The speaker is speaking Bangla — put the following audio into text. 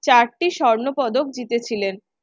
চারটি স্বর্ণ পদক জিতে ছিলেন।